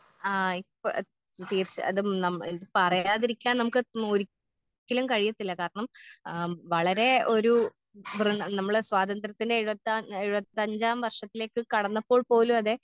ആ ഇപ്പ തീർച്ച അതും ഇത് പറയാതിരിക്കാൻ നമുക്ക് ഒരിക്കലും കഴിയത്തില്ല കാരണം ആം വളരേ ഒരു നമ്മള് സ്വാതന്ത്രത്തിന്റെ എഴുപത്താം എഴുപത്തഞ്ചാം വർഷത്തിലേക്ക് കടന്നപ്പോൾ പോലും അതെ.